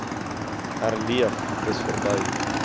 herleef dis verby